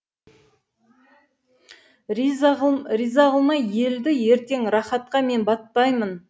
риза қылмай елді ертең рахатқа мен батпаймын